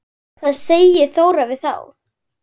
Hvað segir Þóra við þá?